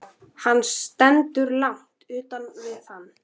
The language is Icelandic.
Hann stendur langt utan við hann.